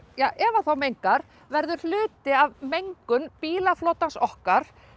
ef hann mengar verður hluti af mengun bílaflotans okkar